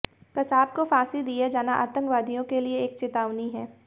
कसाब को फांसी दिया जाना आतंकवादियों के लिये एक चेतावनी है